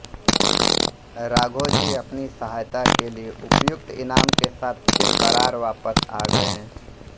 राघोजी अपनी सहायता के लिए उपयुक्त इनाम के साथ फिर बरार वापस आ गए